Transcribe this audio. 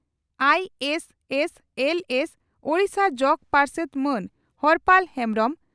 ᱟᱹᱥᱹᱥᱹᱞᱥᱹ ᱳᱰᱤᱥᱟ ᱡᱚᱜᱚ ᱯᱟᱨᱥᱮᱛ ᱢᱟᱱ ᱦᱚᱨᱯᱟᱞ ᱦᱮᱢᱵᱽᱨᱚᱢ